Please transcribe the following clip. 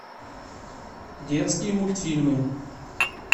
детские мультфильмы